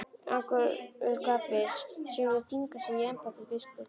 Angurgapi sem lét þvinga sig í embætti biskups.